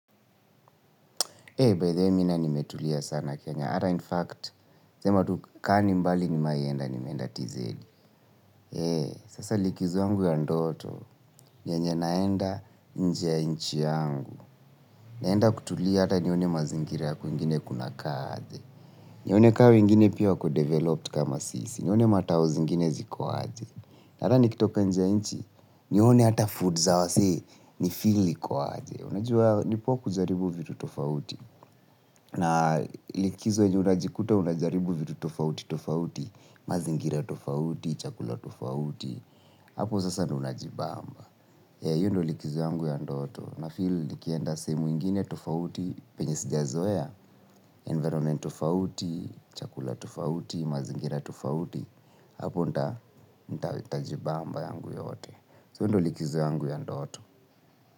By the way mi naye nimetulia sana kenya. Hata in fact, sema tu kaa ni mbali nimewahi enda nimeenda TZ sasa likizo yangu ya ndoto, yenye naenda nje ya nchi yangu. Naenda kutulia hata nione mazingira kwingine kunakaa aje? Nione kaa wengine pia wako developed kama sisi. Nione ma town zingine zikuwa aje. Hata nikitoka nje nchi, nione hata food za wasee, ni feel iko aje. Unajua ni poa kujaribu vitu likizo yenye unajikuta unajaribu vitu tofauti tofauti, mazingira tofauti, chakula tofauti, hapo sasa ndo unajibabamba. Hio ndio likizo yangu ya ndoto So hito ndo likizo yangu ya ndoto.